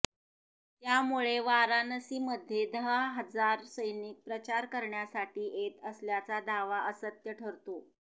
त्यामुळे वाराणसीमध्ये दहा हजार सैनिक प्रचार करण्यासाठी येत असल्याचा दावा असत्य ठरतो